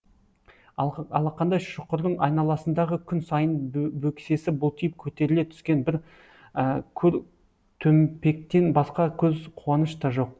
алақандай шұқырдың айналасындағы күн сайын бөксесі бұлтиып көтеріле түскен көр төмпектен басқа көз қуаныш та жоқ